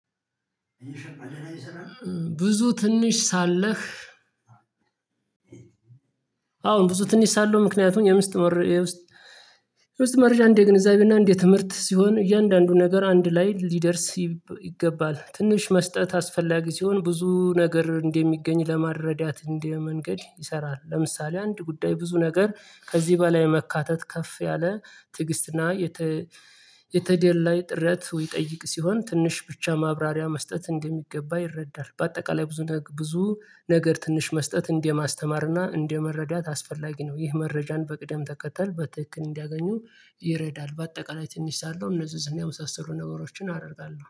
ብዙ ትንሽ ሳለህ። አሁን ብዙ ትንሽ ሳለው ምክንያቱም የምስት መርያ ውስጥ የምስት መርያ አንድ የግንዛቤና አንድ የትምህርት ሲሆን እያንዳንዱ ነገር አንድ ላይ ሊደርስ ይገባል ትንሽ መስጠት አስፈላጊ ሲሆን ብዙ ነገር እንደሚገኝ ለማረዳት እንዲህ መንገድ ይሰራል ለምሳሌ አንድ ጉዳይ ብዙ ነገር ከዚህ በላይ መካተት ከፍ ያለ ትዕግስትና የተ የተደላይ ጥረት ይጠይቅ ሲሆን ትንሽ ብቻ ማብራሪያ መስጠት እንደሚገባ ይረዳል። በአጠቃላይ ብዙ ነገር ብዙ ነገር ትንሽ መስጠት እንደማስተማርና እንደመረዳት አስፈላጊ ነው ይህ መረጃን በቅደም ተከተል በትክክል እንዲያገኙ ይረዳል። በአጠቃላይ ትንሽ ሳለው ንጽጽና የመሳሰሉ ነገሮችን አደርጋለሁ